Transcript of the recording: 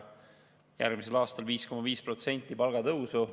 Järgmisel aastal on 5,5% palgatõusu.